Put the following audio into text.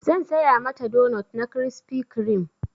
Zan saya mata donot na crispy creame.